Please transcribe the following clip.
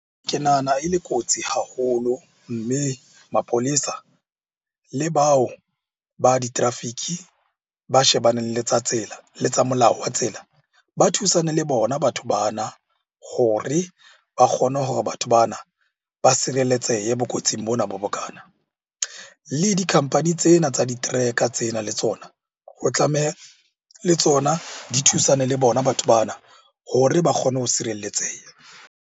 Ke nahana e le kotsi haholo, mme mapolesa le bao ba di-traffic-e ba shebaneng le tsa tsela, le tsa molao wa tsela. Ba thusane le bona batho bana hore ba kgone hore batho bana ba sireletsehe bo kotsing bona bo bokana. Le di-company tsena tsa di-tracker tsena le tsona o tlameha le tsona di thusane le bona batho bana hore ba kgone ho sireletseha.